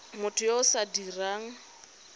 motho yo o sa dirang